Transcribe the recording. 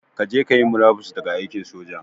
Kaje kayi murabus daga aikin soja